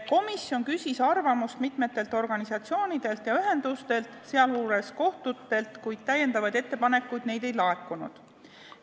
Komisjon küsis arvamust mitmetelt organisatsioonidelt ja ühendustelt, sealjuures kohtutelt, kuid uusi ettepanekuid neilt ei laekunud.